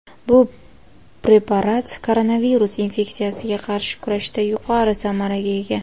Bu preparat koronavirus infeksiyasiga qarshi kurashda yuqori samaraga ega.